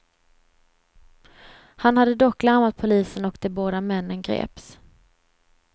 Han hade dock larmat polisen och de båda männen greps.